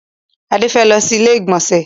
Adé fẹ́ lọ sí ilé ìgbọ̀nsẹ̀.